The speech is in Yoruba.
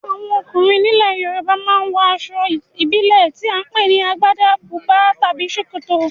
Àwọn ọkùnrin nílẹ̀ Yorùbá ma ń wọ aṣọ ìbílẹ̀ tí à ń pè ní Agbádá, bùbá tàbí ṣòkòtò